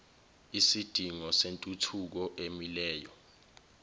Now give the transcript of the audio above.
isidingo sentuthuko emileyo